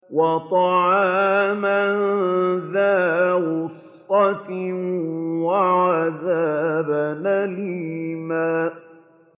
وَطَعَامًا ذَا غُصَّةٍ وَعَذَابًا أَلِيمًا